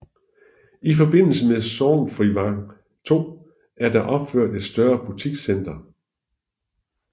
I forbindelse med Sorgnfrivang II er der opført et større butikscenter